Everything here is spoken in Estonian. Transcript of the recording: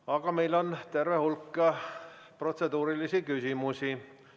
Aga meil on terve hulk protseduurilisi küsimusi.